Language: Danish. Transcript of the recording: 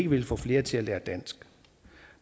vil få flere til at lære dansk